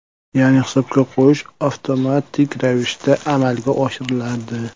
Ya’ni hisobga qo‘yish avtomatik ravishda amalga oshiriladi.